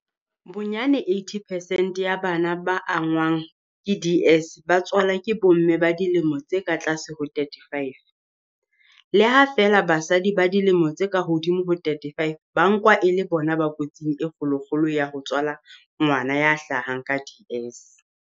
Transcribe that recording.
Bonyane 80 percent ya bana ba angwang ke DS ba tswalwa ke bomme ba dilemo tse ka tlase ho 35, le ha feela basadi ba dilemo tse ka hodimo ho 35 ba nkwa e le bona ba kotsing e kgolokgolo ya ho tswala ngwana ya hlahang ka DS.